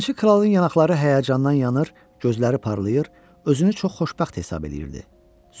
Yalançı kralın yanaqları həyəcandan yanır, gözləri parlayır, özünü çox xoşbəxt hesab eləyirdi, zövq alırdı.